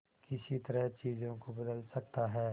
किस तरह चीजों को बदल सकता है